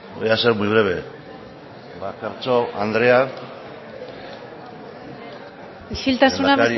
voy a ser muy breve eskerrik asko isiltasuna